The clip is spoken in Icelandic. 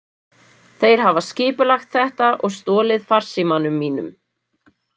Þeir hafa skipulagt þetta og stolið farsímanum mínum.